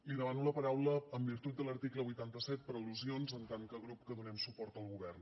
li demano la paraula en virtut de l’article vuitanta set per al·lusions en tant que grup que donem suport al govern